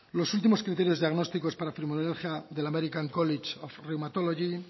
los últimos criterios diagnósticos para la fibromialgia del american college of rheumatology